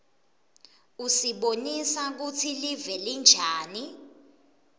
usibonisa kutsi live linjani